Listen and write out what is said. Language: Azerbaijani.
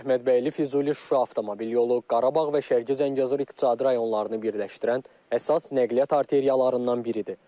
Əhmədbəyli, Füzuli, Şuşa avtomobil yolu, Qarabağ və Şərqi Zəngəzur iqtisadi rayonlarını birləşdirən əsas nəqliyyat arteriyalarından biridir.